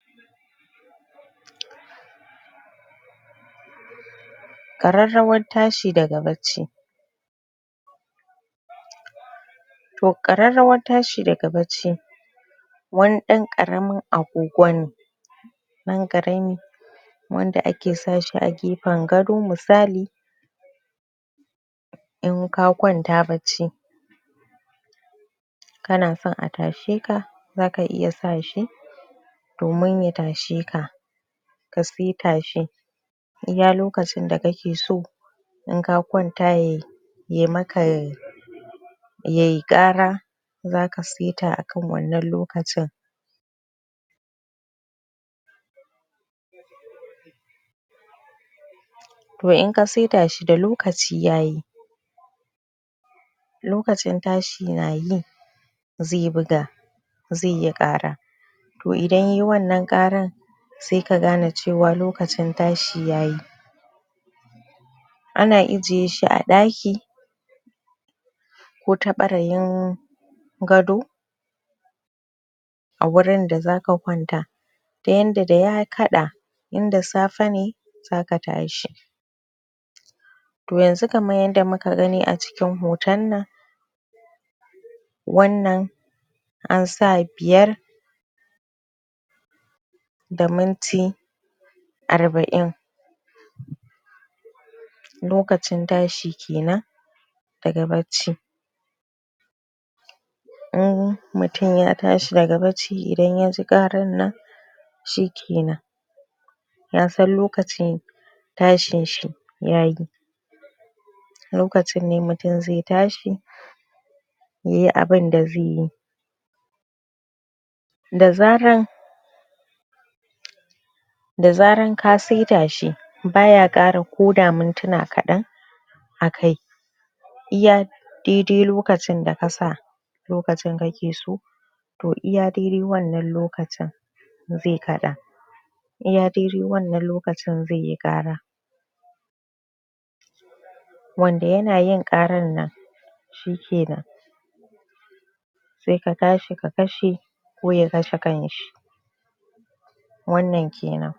Ƙararrawar tashi daga bacci. To ƙararrawar tashi daga bacci, wani ɗan ƙaramin agogo ne ɗan ƙarami wanda ake sa shi a gefen gado misali in ka kwanta bacci, kana son a tashe ka, za ka iya sa shi domin ya tashe ka. Ka seta shi iya lokacin da kake so in ka kwanta ya ya maka yayi ƙara, za ka seta akan wannan lokacin. To in ka seta shi da lokaci yayi, lokacin tashi na yi, zai buga, zai yi ƙara. To idan yayi wannan ƙarar sai ka gane cewa lokacin tashi yayi. Ana ijiye a ɗaki, ko ta ɓarayin gado a wurin da za ka kwanta. Ta yanda da ya kaɗa in da safe ne, za ka tashi. To yanzu kaman yanda muka gani a cikin hoton nan wannan an sa biyar da minti arba'in. Lokacin tashi kenan daga bacci. In mutum ya tashi daga bacci, idan ya ji ƙarar nan, shike nan. Ya san lokacin tashin shi yayi. Lokacin ne mutum zai tashi yayi abunda zai yi. Da zarar da zarar ka seta shi, ba ya ƙara koda mintuna kaɗan akai. Iya dai-dai lokacin da ka sa lokacin kake so to iya dai-dai wannan lokaci, zai kaɗa. Iya dai-dai wannan lokacin zai yi ƙara. Wanda ya na yin ƙarar nan shike nan sai ka tashi ka kashe, ko ya kashe kanshi. Wannan kenan!